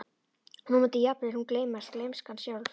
Og nú mundi jafnvel hún gleymast, gleymskan sjálf.